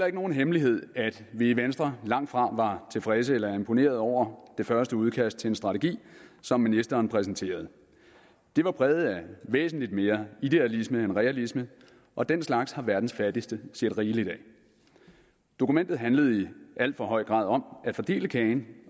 ikke nogen hemmelighed at vi i venstre langtfra var tilfredse eller imponerede over det første udkast til en strategi som ministeren præsenterede det var præget af væsentlig mere idealisme end realisme og den slags har verdens fattigste set rigeligt af dokumentet handlede i al for høj grad om at fordele kagen